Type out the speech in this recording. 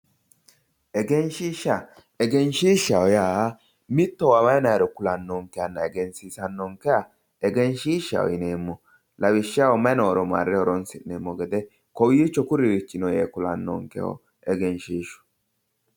Egenshiisha, egenshisha yaa mittowa waayi dayiro ku'lanonkehanna egensiisanonkeha egenshishaho lawishshaho mayi nooro marre horonsi'neemmo gede kowicho kuriri no yaanonkeho egenshiishu.